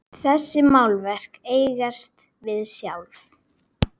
Þessi málverk eigast við sjálf.